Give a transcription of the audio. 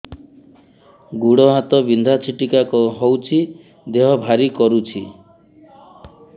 ଗୁଡ଼ ହାତ ବିନ୍ଧା ଛିଟିକା ହଉଚି ଦେହ ଭାରି କରୁଚି